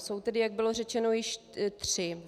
Jsou tedy, jak bylo řečeno, již tři.